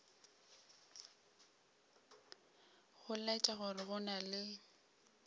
go laetša gore go na